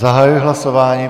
Zahajuji hlasování.